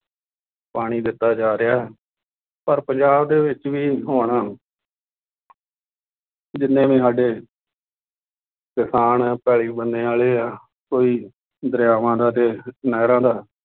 ਪਾਣੀ ਦਿੱਤਾ ਜਾ ਰਿਹਾ। ਪਰ ਪੰਜਾਬ ਦੇ ਵਿੱਚ ਵੀ ਹੁਣ ਜਿੰਨੇ ਵੀ ਸਾਡੇ ਕਿਸਾਨ ਆ, ਪੈਲੀ ਬੰਨੇ ਵਾਲੇ ਆ, ਕੋਈ ਦਰਿਆਵਾਂ ਦਾ ਅਤੇ ਨਹਿਰਾਂ ਦਾ